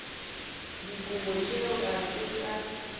dikobo tšeo ga se tša